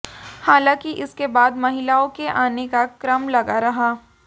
हालांकि इसके बाद महिलाओं के आने का क्रम लगा रहा